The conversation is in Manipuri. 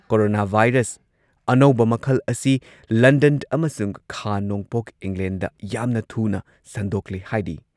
ꯀꯣꯔꯣꯅꯥ ꯚꯥꯏꯔꯁ ꯑꯅꯧꯕ ꯃꯈꯜ ꯑꯁꯤ ꯂꯟꯗꯟ ꯑꯃꯁꯨꯡ ꯈꯥ ꯅꯣꯡꯄꯣꯛ ꯏꯪꯂꯦꯟꯗ ꯌꯥꯝꯅ ꯊꯨꯅ ꯁꯟꯗꯣꯛꯂꯦ ꯍꯥꯏꯔꯤ꯫